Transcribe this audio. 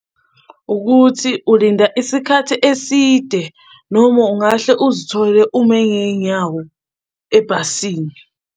Ukuthi ulinda isikhathi eside noma ungahle uzithole ume ngey'nyawo ebhasini.